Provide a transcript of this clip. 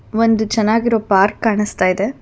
ಒಂದು ಚೆನ್ನಾಗಿರೋ ಪಾರ್ಕ್ ಕಾಣಸ್ತಾ ಇದೆ.